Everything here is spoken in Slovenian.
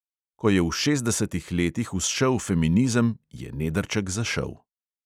Ko je v šestdesetih letih vzšel feminizem, je nedrček zašel.